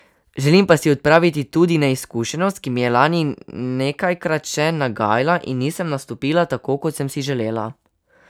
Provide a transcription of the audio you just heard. Želim pa si odpraviti tudi neizkušenost, ki mi je lani nekajkrat še nagajala in nisem nastopila tako, kot sem si želela.